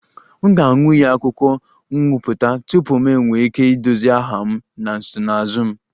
M ga-aṅụ iyi akwụkwọ nkwupụta tupu m nwee ike idozi aha m na nsonaazụ m